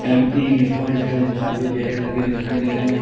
ME लिखा हुआ है कांच के दिखाई दे रहे हैं।